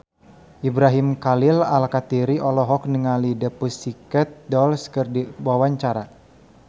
Ibrahim Khalil Alkatiri olohok ningali The Pussycat Dolls keur diwawancara